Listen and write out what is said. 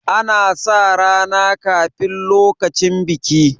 ana sa rana kafin lokacin biki